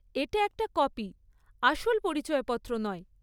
এটা একটা কপি, আসল পরিচয়পত্র নয়।